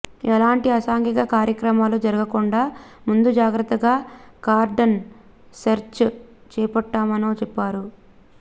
ఎలాంటి అసాంఘిక కార్యక్రమాలు జరగకుండా ముందు జాగ్రత్తగా కార్డన్ సెర్చ్ చేపట్టామనొ చెప్పారు